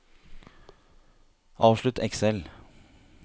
avslutt Excel